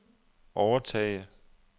overtage